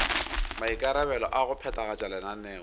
maikarabelo a go phethagatša lenaneo